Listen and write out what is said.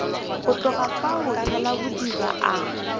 go tloga fao thalabodiba a